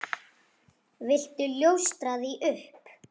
Viltu ljóstra því upp?